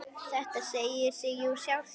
Þetta segir sig jú sjálft!